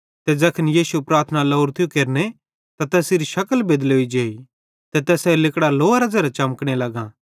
ते ज़ैखन यीशु प्रार्थना लोरो थियो केरने त तैसेरी शकल बेदलोई जेई ते तैसेरां लिगड़ां लोअरां ज़ेरां चमकने लगो